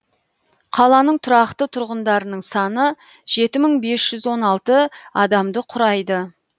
қаланың тұрақты тұрғындарының саны жеті мың бес жүз он алты адамды құрайды